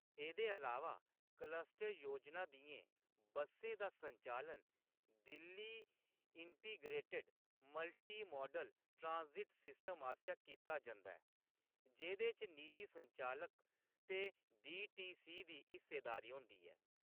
एह्‌‌‌दे अलावा, क्लस्टर योजना दियें बसें दा संचालन Delhi integrated multi modal transit system आसेआ कीता जंदा ऐ, जेह्‌‌‌दे च निजी संचालक ते डी.टी.सी. दी हिस्सेदारी होंदी ऐ।